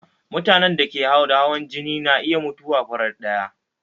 Mutanen da suke da hawan jini na iya mutuwa farat ɗaya